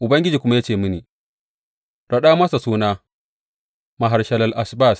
Ubangiji kuma ya ce mini, Raɗa masa suna, Maher Shalal Hash Baz.